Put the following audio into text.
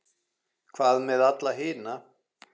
Hvað með alla hina?